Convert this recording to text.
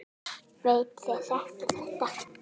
Veit þið þekkið þetta.